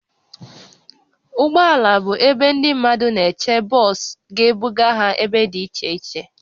Ụgbọ ala bụ ebe ndị mmadụ na-eche bọs ga-ebuga ha ebe dị iche iche